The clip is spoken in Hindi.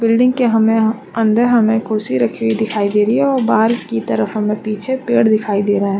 बिल्डिंग के हमें अंदर हमें कुर्सी रखी हुई दिखाई दे रही है और बाहर की तरफ हमें पीछे पेड़ दिखाई दे रहा है।